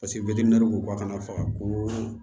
ko ka kana faga ko